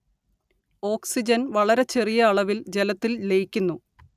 ഓക്സിജന്‍ വളരെ ചെറിയ അളവില്‍ ജലത്തില്‍ ലയിക്കുന്നു